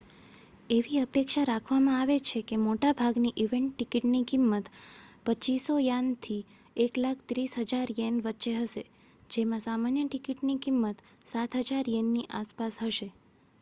એવી અપેક્ષા રાખવામાં આવે છે કે મોટા ભાગની ઇવેન્ટ ટિકિટની કિંમત ¥2,500 થી ¥130,000 વચ્ચે હશે જેમાં સામાન્ય ટિકિટોની કિંમત ¥7,000 ની આસપાસ હશે